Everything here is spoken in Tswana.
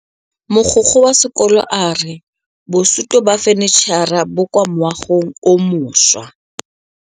Mogokgo wa sekolo a re bosutô ba fanitšhara bo kwa moagong o mošwa.